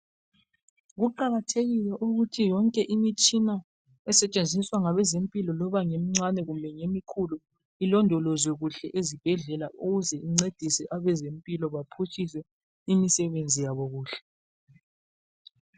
Kuqakathekile ukuthi yonke imitshina esetshenziswa ngabezempilo loba ngemincane kumbe ngemikhulu ilindolozwe kuhle ezibhedlela ukuze incedise abezempilo baphutshise imisebenzi yabo kuhle.